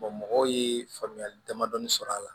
mɔgɔw ye faamuyali damadɔni sɔrɔ a la